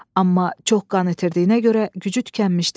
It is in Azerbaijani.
Amma çox qan itirdiyinə görə gücü tükənmişdi.